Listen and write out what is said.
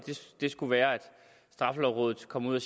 det skulle være at straffelovrådet kom ud og